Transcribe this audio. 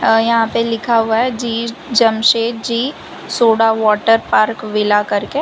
यहां पे लिखा हुआ है जी Jamshedji soda water park villa करके।